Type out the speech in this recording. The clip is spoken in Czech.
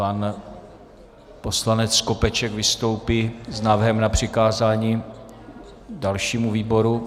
Pan poslanec Skopeček vystoupí s návrhem na přikázání dalšímu výboru.